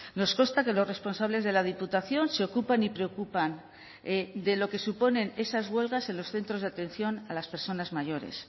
nos consta que los responsables de la diputación se ocupan y preocupan de lo que suponen esas huelgas en los centros de atención a las personas mayores